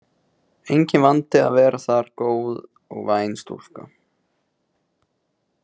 Enginn vandi að vera þar góð og væn stúlka.